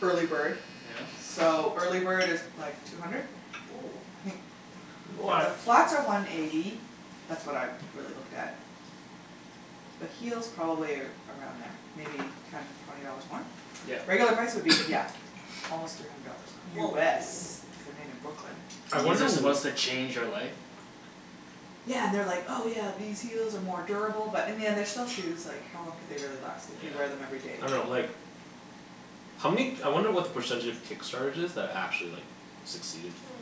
early bird. Yeah. So, early bird is like two hundred? Woo. I think The What flats are one eighty, that's what I really looked at. The heels probably around there, maybe ten twenty dollars more? Yeah. Regular price would be yeah, almost three hundred dollars. Whoa. US, cuz they're made in Brooklyn. I These wonder are w- supposed to change your life? Yeah, and they are like, "Oh yeah, these heels are more durable" but in the end they're still shoes, like how long could they really last if you wear them everyday. I dunno like, how many k- I wonder what the percentage of Kickstarters is, that actually like succeeded. Hmm.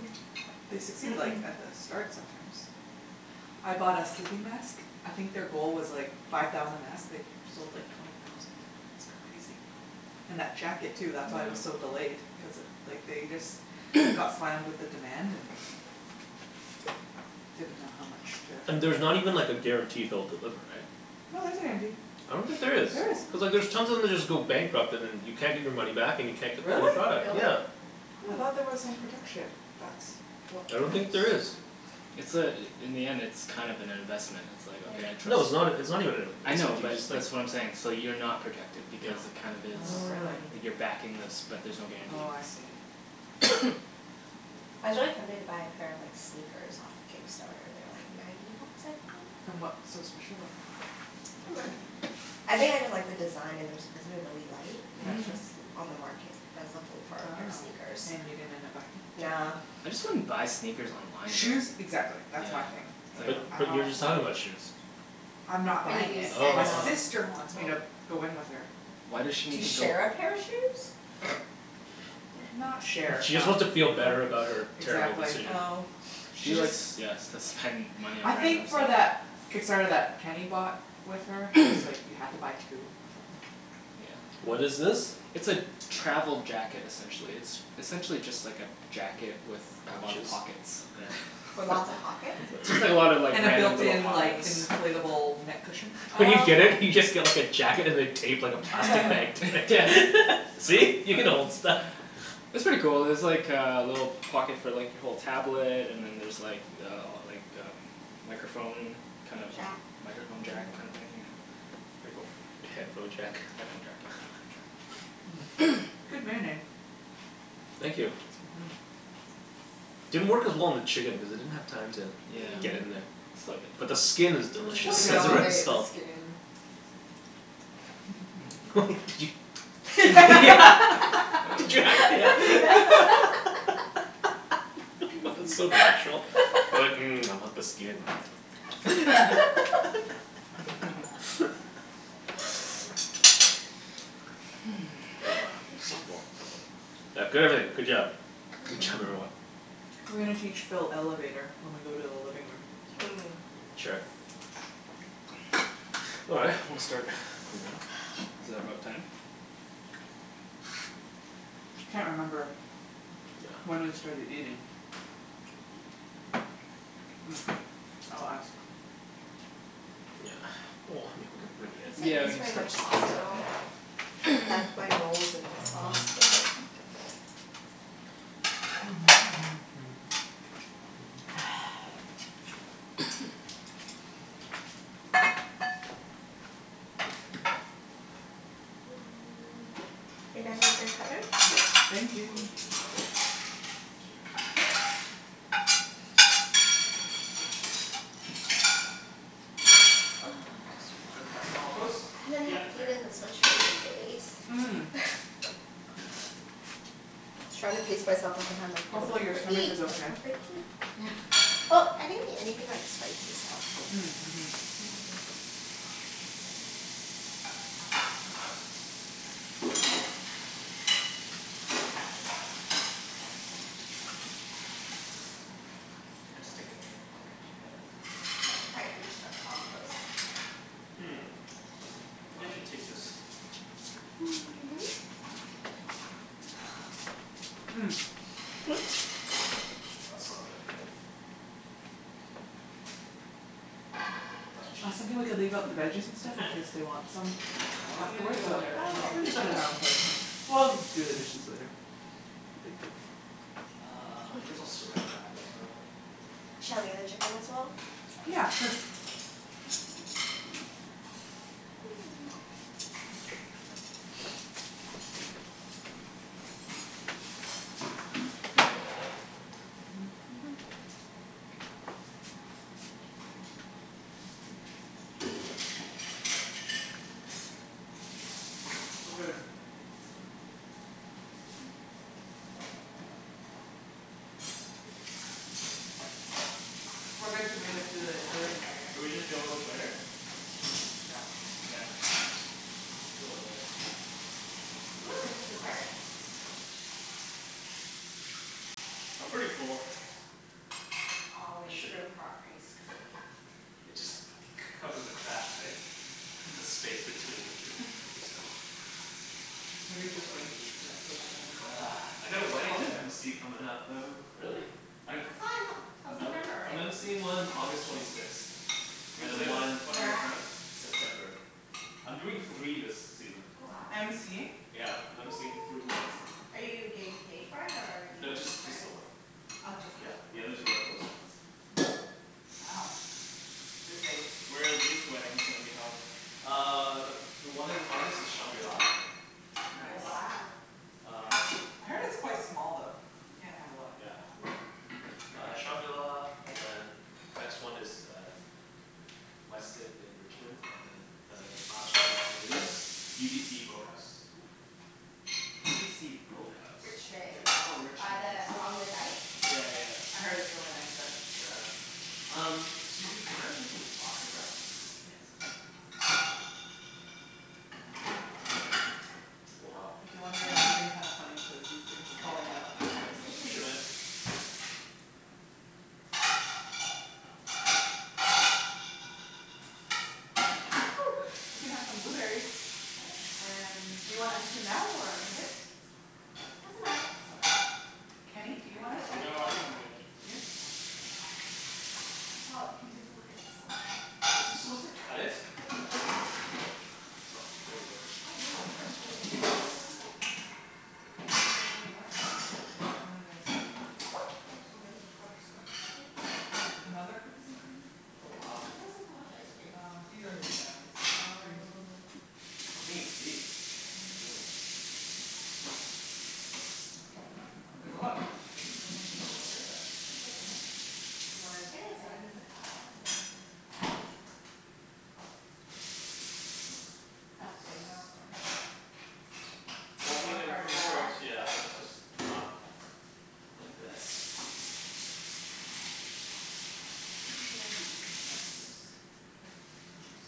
They succeed like at the start sometimes. I bought a sleeping mask, I think their goal was like five thousand masks, they sold like twenty thousand, it's crazy. And that jacket too that's why it was so delayed cuz like they just got slammed with the demand and didn't know how much to And there's not even like a guarantee they'll deliver, right? No, there's a guarantee. I don't think there is. There is. Cuz like there's tons of them just go bankrupt and then you can't get your money back and you can't get Really? your product. Really? Yeah. I thought there was some protection, that's what I don't I've think there is. It's uh in the end it's kind of an investment, it's like, "Okay, I'll try- No, it's " not, it's not even an inv- I it's know like, you but that's what I'm saying, just like so you're not protected Yeah because it kind of is, Oh really. you're backing this but there's no guarantee. Oh I see. I was really tempted to buy a pair of like, sneakers off Kickstarter. They were like ninety bucks, I think? And what's so special about them? I think I just like the design and they're supposed to be really light. And that's Mhm. just l- on the market, I was looking for a pair of Oh, sneakers. and you didn't end up buying it? Nah. I just wouldn't buy sneakers online Shoes though. exactly, that's my thing. But, I but you were don't just like talking about shoes. I'm not But buying you it. send Oh. My um sister wants me to go in with her. Why does she To need to go share a pair of shoes? Not share, She just no. wants to feel better about her terrible Exactly. decision. Oh. She likes, yeah, s- to spend money I on random think for stuff. that Kickstarter that Kenny bought with her, cuz like you have to buy two or something. What Yeah. is this? It's a travel jacket essentially. It's essentially just like a jacket with a lot of Pouches? pockets. Okay. With lots of pockets? Just like, just like a lot of like, And the random built little in pockets. like inflatable neck cushion? When you Oh get it, you just okay. get like a jacket and they tape like a plastic bag like yeah, see? You can hold stuff. It's pretty cool. There's like uh a little pocket for like, you hold tablet and then there's like uh like um microphone kind of Jack? Microphone jack kinda thing yeah. Pretty cool. A headphone jack? Headphone jacked, yeah. Good marinade. Thank you. Mhm. Didn't work as well on the chicken because it didn't have time to Yeah. get in there. Still But the good. skin is Mm, delicious. It and I has want more to eat the salt. skin. Did you Did you Yeah What the, so natural, you're like, "Mmm, I want the skin." Ah, so full. Yeah, good everything, good job. Good job everyone. We're gonna teach Phil Elevator when we go to the living room. Mm. Sure. All right, I'm gonna start cleaning up. Is that about time? Can't remember When we Yeah. started eating. I'll ask. Yeah, well, I mean we could You bring it in. guys didn't Yeah, we use can very start much to bring sauce at stuff all. in. I dunked my rolls in the sauce, they're like Are you done with your cutleries? Yeah, thank We'll you. load the dishwasher. I'm so full. Just, that's compost? I haven't Yeah, had, it's right eaten this much here. Sweet. food in days. Mm. Trying to pace myself the whole time like, don't Hopefully your stomach overeat, is don't okay. overeat. Well, I didn't eat anything like spicy so. Mm mhm. Just stick it in there. Yep. Okay. I can't quite reach the compost. Hmm, maybe I should take this. Well, that's not gonna fit. That's what she I said. think we could leave out the veggies and stuff in case they want some I wasn't gonna afterwards go so there, Oh We Phil. okay. can just clean our own plates and we'll do the dishes later. No big deal. Uh, I guess I'll saran wrap it up probably. Shall I leave the chicken as well? Yeah, sure. We're good to move into the living area. Should we just deal with this later? Yeah. Yeah, it's fine. We'll deal with it later. Ooh, there's dessert! I'm pretty full. There's always room for ice cream. It just, cover the cracks, right, the space between the food. Should Maybe we just soak rinse, these? yeah soak that Ugh, I right got in. a Whose wedding phone to is MC comin' that? up, though. Really? I thought it was a, till September, I'm right? MCing one August twenty sixth, and Who's then this? one One Where of your at? friends? September. I'm doing three this season. Oh wow. MCing? Yeah, I'm MCing three weddings. Are you getting paid for it or are you No, doing it just, for just the friends? one. Oh just Yeah, that one. the other two are close friends. Wow. Busy. Where are these weddings gonna be held? Uh the, the one in August is shangri-la. Mm Nice. wow. Uh I heard it's quite small though, like you can't have a lot of Yeah. people. Uh shangri-la and then next one is uh Westin in Richmond and then uh last one is UBC boathouse. UBC boathouse? Yeah, Richmond. it's Oh in By Richmond, yes. the, along the Rich- dike? Yeah yeah. I heard it's really nice there. Yeah. Um, Susie, can I get some plastic wrap? Yes. Oh wow. If you're wondering, I'm moving kinda funny cuz these things are falling out. Here, just push'em in. We can have some Woo! blueberries. And do you want ice cream now or in a bit? Doesn't matter. Kenny, do I you want ice can wait. cream? No, I think I'm good. Good? Okay. Well, you can take a look at the Is this supposed selection. to cut it? Oh, there we go. Oh here's the shrimp. Cookies n cream. And then there's Oh so many Butterscotch maple? Another cookies n cream Oh wow. Why do you guys have so much ice cream Um these are his family's. Green tea. Oh. Green tea? Whoa. I'ma try this. Oh, there's a lot of cookies n cream, this one's a bit lighter but there's still so much. You wanna In a bit, decide in a bit? I'll do it in a bit. What's that plate out for? Oh, it Well, I doesn't mean it work wor- very it well. works yeah, it was just not the best. Where should I be, just put it in the containers.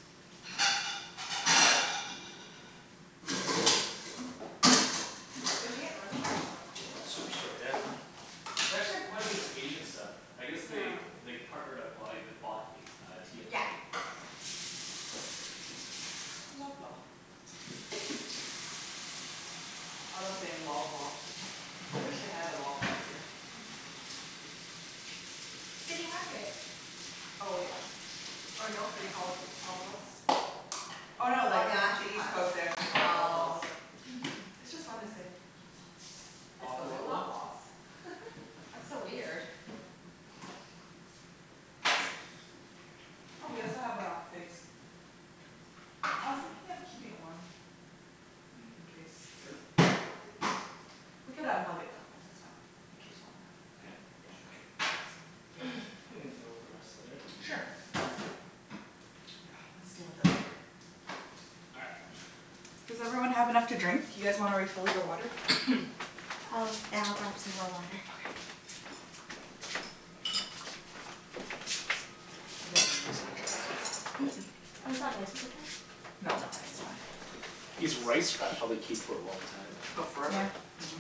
Where d'you get lemongrass from, Superstore? Superstore, yeah. They actually have quite a bit of Asian stuff. I guess they they partnered up, well, they bought a uh T&T. Yeah, yeah. Loblaw. I love saying Loblaw. I wish they had a Loblaws here. City Market. Oh yeah. Or No They Frills. call it Loblaws? Oh Oh no they, no in actually East Coast they actually call it Loblaws Oh. It's just fun to say. Let's go to Loblaws. That's so weird. Oh we also have uh figs. I was thinking of keeping it warm in case people want it. We could unplug it though, that's fine. It keeps warm Yeah? enough. Yeah. Sure Think we can deal with the rest later. Sure. Yeah, let's deal with it later. All right. Does everyone have enough to drink? You guys wanna refill your water? Oh, yeah I'll grab some more water. Okay. I didn't use my chopsticks. Oh, is that my paper towel? No I think it's mine. These rice wraps probably keep for a long time. Oh Yeah. forever. Mhm.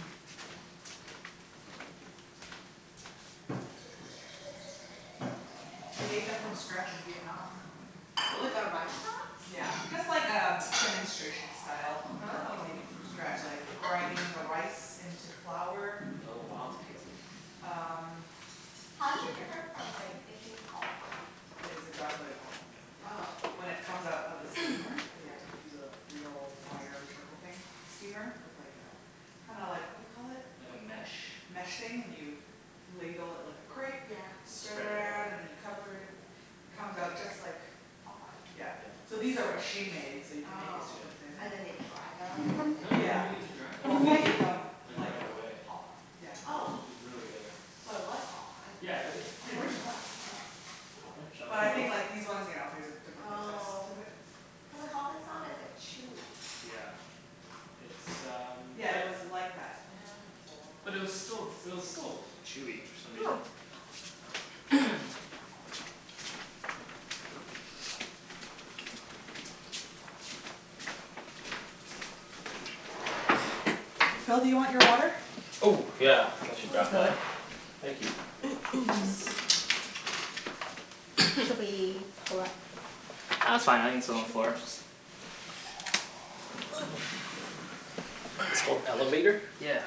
We made them from scratch in Vietnam. Really? The rice wraps? Yeah, just like um demonstration style. They Oh. make it from scratch like the grinding the rice into flour Oh It's wow. crazy. Um How's it different from like making Ho Fun? It's exactly like Ho Fun, Yeah. yeah. Oh. When it comes out of the steamer, they like use a real fire trickle thing steamer? With like a, kinda like what do you call it? Like a mesh? Mesh thing, and you ladle it like a crepe Yeah Spread it around and then you That's cover pretty it, cool it comes out just like Ho Fun? Yeah. So these are machine-made so you can make it Oh. super thin. And then they dry them and then No, you they? don't Yeah. even need to dry them. Well we ate them Like like right away. Ho fun. Yeah It was, Oh. it was really good. So it was Ho Fun. Yeah, it, it's pretty much Pretty like Ho much, yeah. Fun. But Oh. I think like these ones yeah there's a different process Oh. to it. Cuz like Ho Fun's not as like chewy. Yeah, it's um Yeah it was like that Ho Fun But it was still, it was consistency still chewy for some reason. Phil, do you want your water? Oh yeah, I should I'll grab fill it. that Thank you. Should we pull up Ah, that's fine. I can sit on the floor. It's called Elevator? Yeah.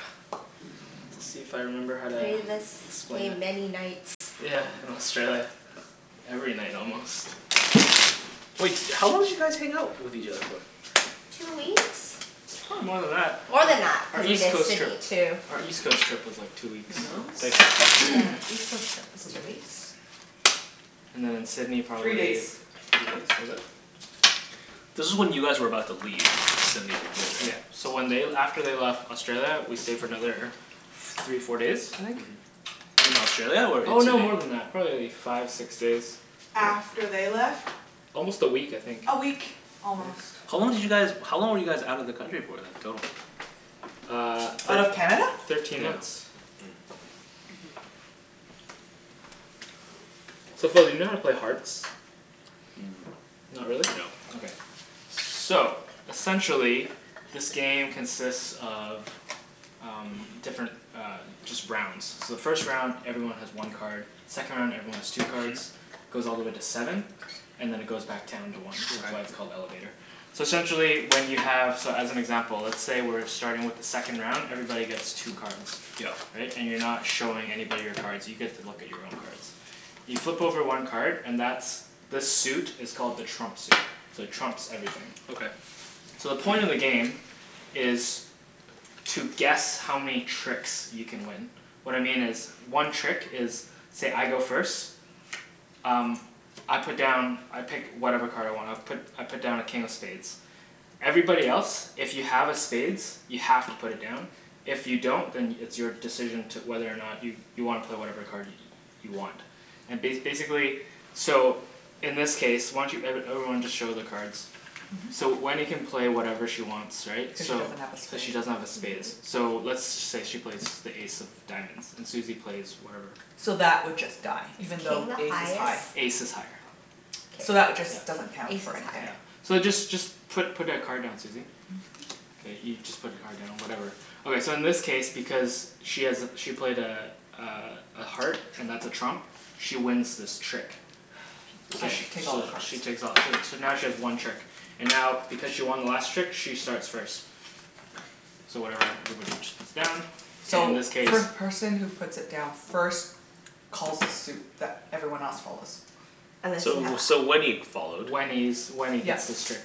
Let's see if I remember how to Played this explain game it. many nights Yeah, in Australia. Every night almost. Wait, how long did you guys hang out with each other for? Two weeks? Probably more than that. More than that. Our Cuz we East did Coast trip Sydney too. Our East Coast trip was like two weeks Here you go. Thank you. Yeah. East Coast trip was two weeks. And then in Sydney Three days. probably Three days? Was it? This is when you guys were about to leave Sydney for good, Yeah, so right? when they l- after they left Australia, we stayed for another f- three, four days, I think? Mhm. In Australia or in Oh no, Sydney? more than that. Probably like five, six days. After they left? Almost a week I think. A week, almost. How long did you guys, how long were you guys out of the country for then, total? Uh Out of Canada? Thirteen months. So Phil do you know how to play Hearts? Mm. Not really? No. Okay. So essentially, this game consists of um different uh, just rounds. So the first round everyone has one card, second round everyone has two cards, goes all the way to seven, and then it goes back down to one. That's Okay. why it's called Elevator. So essentially when you have, so as an example let's say we're starting with the second round, everybody gets two cards. Yep. Right? And you're not showing anybody your cards. You get to look at your own cards. You flip over one card and that's, the suit is called the trump suit, so it trumps everything. Okay. So the point of the game is to guess how many tricks you can win. What I mean is one trick is say, I go first, um I put down I pick whatever card I want, I put I put down a King of Spades. Everybody else if you have a spades, you have to put it down, if you don't then it's your decision to, whether or not you you wanna play whatever card you want. And ba- basically so in this case, why don't you, every everyone just show their cards. So Wenny can play whatever she wants right, Cuz she so. doesn't have a Cuz she spade. doesn't have a spades. So let's say she plays the ace of diamonds, and Susie plays whatever. So that would just die, Is even though king the Ace is high. highest? Ace is higher. So that would K. just, doesn't count Ace for is anything. higher. So just just put put a card down, Susie. K, you just put your card down whatever. Okay so in this case because she has a, she played a uh a heart and that's a trump, she wins this trick. I Okay. So take all the cards. she takes all too, so now she has one trick, and now because she won the last trick, she starts first. So whatever everybody just puts down, so in So this case first person who puts it down first calls a suit that everyone else follows. So, so Wenny followed. Wenny's, Wenny gets this trick.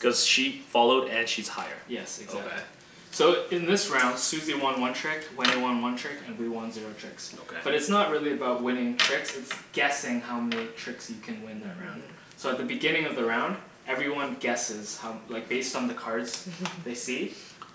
Cuz she followed and she's higher. Yes, exactly. Okay. So in this round Susie won one trick, Wenny won one trick and we won zero tricks. But it's Okay. not really about winning tricks, it's guessing how many tricks you can win that round. So at the beginning of the round, everyone guesses how, like based on the cards they see.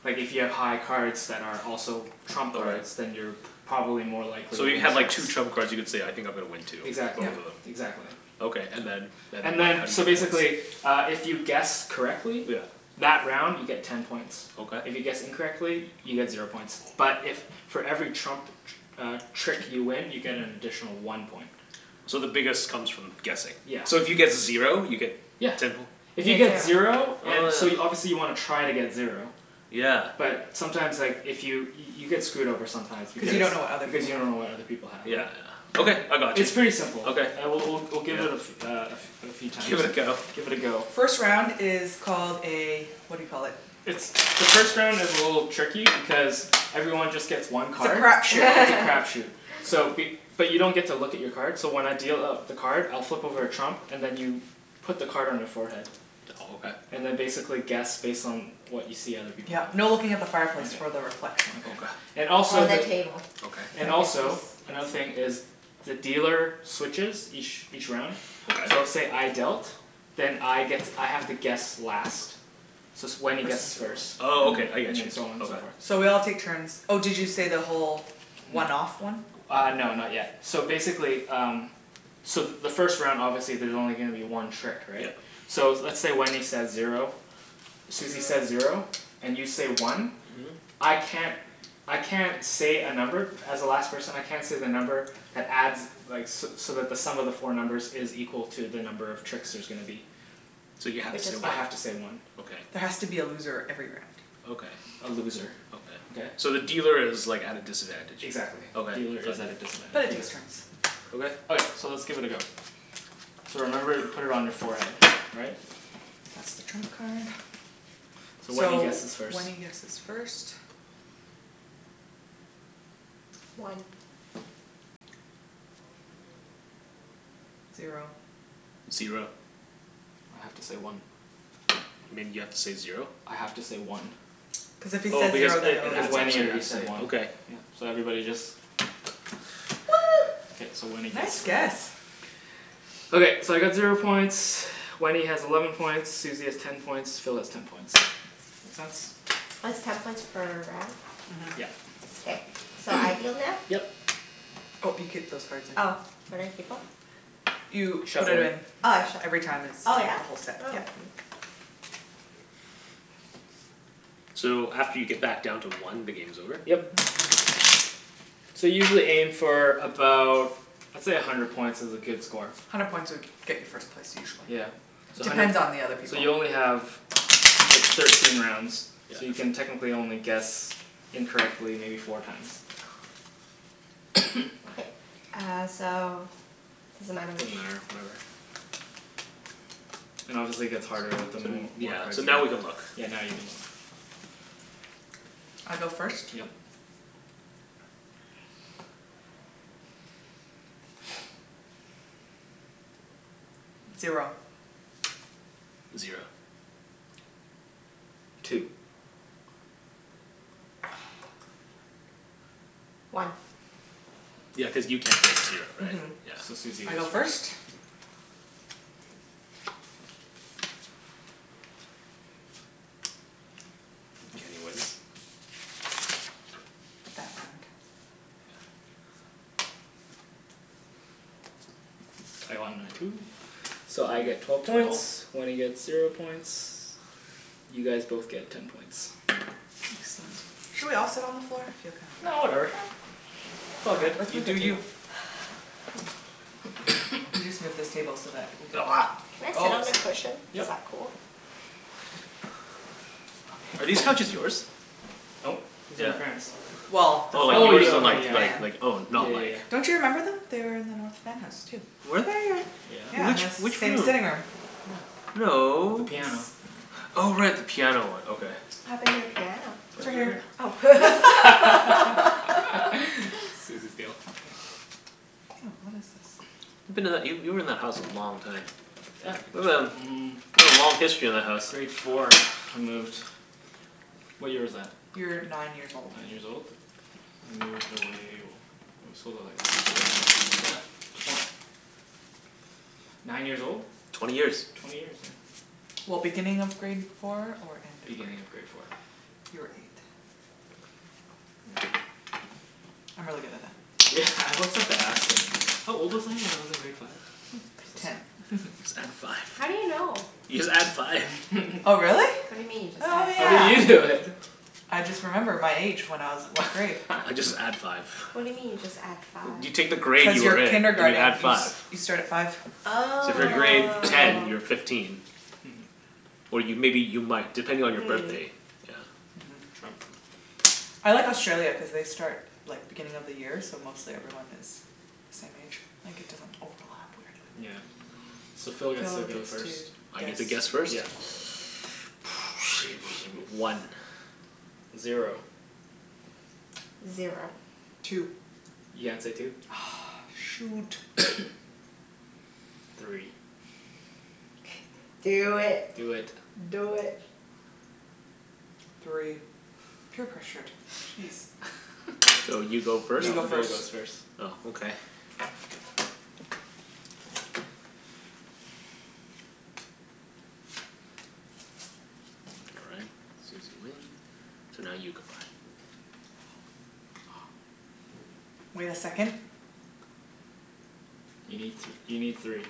Like if you have high cards that are also trump cards. Then Okay. you're p- probably more likely to So you win have like tricks. two trump cards, you could say, I think I'm gonna win two. Exactly. Both Yep. of them. Exactly. Okay, and then, then And what? then How do you so get points? basically uh if you guess correctly Yeah. That round you get ten points. Okay. If you guess incorrectly, you get zero points, but if for every trump tr- uh trick you win you get an additional one point. So the biggest comes from guessing. Yeah. So if you get zero you get Yeah. Ten poi If you get zero Oh So you, yeah. obviously you wanna try to get zero. Yeah. But sometimes like, if you, you get screwed over sometimes Cu you because don't know what other Because people you have don't know what other people have, Yeah, right? yeah. Okay, I got you. It's pretty simple. Okay. All right, we'll we'll we'll give it a fe- uh a f- uh a few times. Give it a go. Give it a go. First round is called a what do you call it. The first round is a little tricky because everyone just gets one It's a card. crap shoot. It's a crap shoot. So be- but you don't get to look at your card, so when I deal out the card, I'll flip over a trump and then you put the card on your forehead. Oh okay. And then basically guess based on what you see other people have. Yep, no looking at the fireplace for the reflection. Okay. And Or also the the- table. Okay. And also, another thing is the dealer switches each each round. So Okay. say I dealt, then I get to, I have to guess last. So it's, Wenny guesses first. Oh okay, I And get then, you. and so on and so forth. So we all take turns. Oh did you say the whole one off one? Uh no, not yet. So basically um, so the first round obviously there's only gonna be one trick, right? Yep. So let's say Wenny says zero, Susie says zero, and you say one. Mhm. I can't, I can't say a number, as the last person I can't say the number that adds like so so that the sum of the four numbers is equal to the number of tricks there's gonna be. So you have to say I one. have to say one. There Okay. has to be a loser every round. Okay. A loser. Okay? Okay. So the dealer is like at a disadvantage. Exactly. Okay. Dealer is at a But it disadvantage. takes turns. Okay. Okay, so let's give it a go. So remember put it on your forehead, all right? That's the trump card. So Wenny So guesses first. Wenny guesses first. One. Zero. Zero. I have to say one. You mean you have to say zero? I have to say one. Cuz if he Oh says because zero then it, it Because adds Wenny one. already up to said one. okay. Yeah, so everybody just One! K, so Wenny Nice gets guess! Okay, so I got zero points, Wenny has eleven points, Susie has ten points, Phil has ten points. Makes sense? It's ten points per round? Mhm. Yep. Okay. So I deal now? Yep. Oh you keep those cards in, Oh where do I mhm. keep em? You put it Shuffle'em. in. Oh I shuff- Every time it's oh from yeah? the whole set, yeah. So after you get back down to one, the game's over? Yep. So usually aim for about, let's say a hundred points is a good score. Hundred points would get you first place usually. Yeah. So hundred Depends p- on the other So people you only have thir- thirteen rounds So you can Yeah. technically only guess incorrectly maybe four times. Okay. Uh so does it matter which Doesn't matter, whatever. And obviously gets harder with the more, Yeah, more cards so you now we can look. get. Yeah, now you can look I go first? Yep. Zero. Zero. Two. One. Yeah, cuz you can't say zero, right? Mhm So Susie I go goes first? first Kenny wins? I won my two. So I get twelve points, Wenny gets zero points, you guys both get ten points. Excellent. Should we all sit on the floor? No whatever, it's all good. You do you. We'll just move this table so that we could Can I sit on the cushion? Yep Is that cool? Are these couches yours? Nope, these are my parents'. Well, they're Oh like Oh from yours yeah are ok North like yeah. like Van. like oh Yeah not like yeah yeah. Don't you remember them? They are in the North Van house too. Were they? Yeah, Which, and the Yeah. which same room? sitting room. Yeah. With No. the piano. Oh right. The piano one, okay. What happened to the piano? It's It's right right over Oh here. here. Susie's deal. Oh what is this. You've been that, you, you were in that house for a long time. Yeah, mm. You've got a long history in that house. Grade four, I moved. What year was that? You were nine Nine years years old. old? I moved away, we sold it like last year? Yeah. Twen- nine years old? Twenty years. Twenty years, yeah. Well, beginning of grade four or end of grade Beginning of four? grade four. You were eight. Yeah. I'm really good at that. Yeah, I always have to ask her. How old was I? When I was in grade five? Ten. Just add five. How do you know? You just add five. Oh really? What do you mean, Oh just oh add How yeah. you five? do know then? I just remember my age when I was what grade I just add five. What do you mean you just add five? You take the grade Cuz your you're in, and you add kindergarten you s- five. you start at five So if you're grade Oh. ten, you're fifteen. Or you, maybe you might, depending on your Mm. birthday. Trump. I like Australia cuz they start like, beginning of the year so mostly everyone has the same age. Like it doesn't overlap weirdly. Yeah, so Phil gets to go first. I get to guess first? Yeah. One Zero Zero Two You can't say two. Ugh shoot! Three. Do it. Do it. Do it. Three. Peer pressured, geez. So you go first? You No, go Phil first goes first. Oh okay. All right, Susie win, so now you go. Wait a second. You need th- you need three.